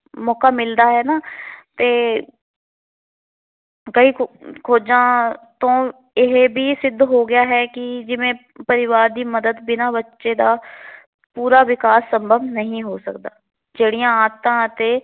ਕਈ ਖੋ ਖੋਜਾਂ ਤੋਂ ਇਹ ਵੀ ਸਿੱਧ ਹੋ ਗਿਆ ਹੈ ਕਿ ਜਿਵੇ ਪਰਿਵਾਰ ਦੀ ਮਦਦ ਬਿਨਾ ਬੱਚੇ ਦਾ ਪੂਰਾ ਵਿਕਾਸ ਸੰਭਵ ਨਹੀ ਹੋ ਸਕਦਾ। ਜਿਹੜੀਆਂ ਆਦਤਾ ਅਤੇ